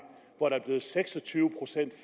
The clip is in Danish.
hvor der blevet seks og tyve procent